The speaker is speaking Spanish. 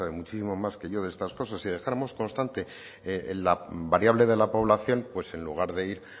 muchísimo más que yo de estas cosas si dejáramos constante la variable de la población pues en lugar de ir